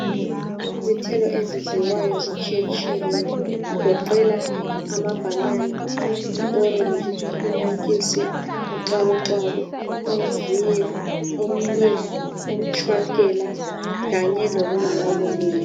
Izithelo ezidliwayo zitshiyetshiyene. Kugoqela amabhanana, i orenji, inantshisi, uxakuxaku, umviyo, umnyi umtshwankela kanye lokunye okunengi.